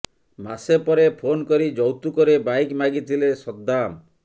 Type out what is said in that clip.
ମାସେ ପରେ ଫୋନ କରି ଯୌତୁକରେ ବାଇକ୍ ମାଗିଥିଲେ ସଦ୍ଧାମ